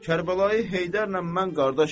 Kərbəlayı Heydərlə mən qardaş idim.